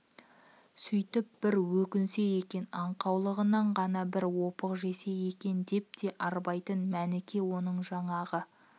сөйтіп бір өкінсе екен аңқаулығынан ғана бір опық жесе екен деп те арбайтын мәніке оның жаңағы